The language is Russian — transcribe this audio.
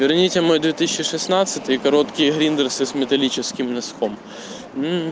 верните мой две тысячи шестнадцатый и короткие гриндерсы с металлическим носком